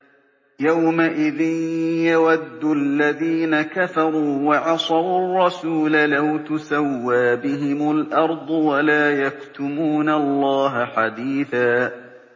يَوْمَئِذٍ يَوَدُّ الَّذِينَ كَفَرُوا وَعَصَوُا الرَّسُولَ لَوْ تُسَوَّىٰ بِهِمُ الْأَرْضُ وَلَا يَكْتُمُونَ اللَّهَ حَدِيثًا